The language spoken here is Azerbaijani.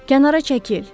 Kənara çəkil.